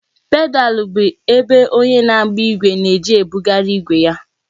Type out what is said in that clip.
Pedalu bụ ebe onye na-agba ìgwè na-eji ebugharị ìgwe ya